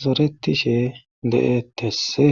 zoretishe de7etesse